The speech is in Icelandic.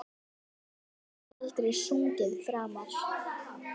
Þú getur aldrei sungið framar